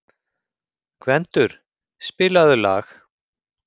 Gvendur, spilaðu lag.